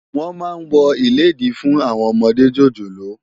Wòn má wò ilédí fún áwòn òmòdé jójólóò